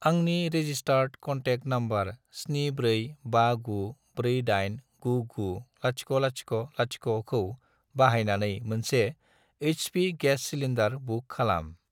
आंनि registered contact number 74594899000 खौ बाहायनानै मोनसे एइच.पि. गेस सिलिन्दार बुक खालाम।